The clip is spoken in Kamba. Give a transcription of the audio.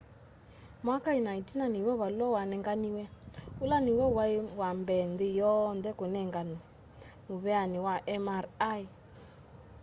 mwaka ina itina niw'o valua wanenganiwe ula niw'o wai wambee nthi yonthe kunenganwe muveani wa mri